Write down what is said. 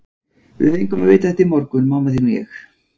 Við fengum að vita þetta í morgun, mamma þín og ég.